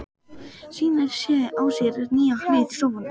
Sýnir á sér nýja hlið í sófanum.